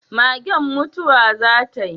Magen mutuwa za tai?